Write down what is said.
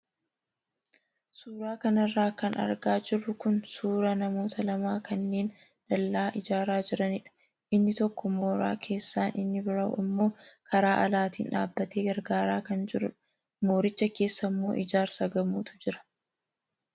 Suuraa kanarra kan argaa jirru kun suuraa namoota lama kanneen dallaa ijaaraa jiranidha. Inni tokko mooraa keessaan inni biraa immoo karaa alaatiin dhaabbatee gargaaraa kan jirudha. Mooricha keessa immoo ijaarsa gamootu jira.